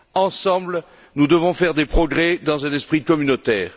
Ensemble, nous devons faire des progrès dans un esprit communautaire.